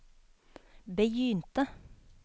begynte